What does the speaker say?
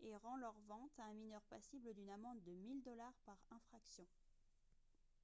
et rend leur vente à un mineur passible d'une amende de 1000 dollars par infraction